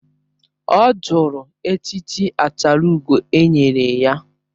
Ọ jụrụ echichi achalugo e nyere ya